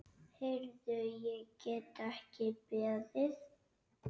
Heyrðu, ég get ekki beðið.